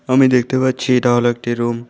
আমি দেখতে পাচ্ছি এটা হল একটি রুম ।